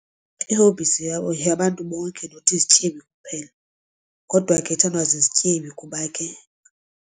Iihobbies yeyabantu bonke not izityebi kuphela kodwa ke ithandwa zizityebi kuba ke.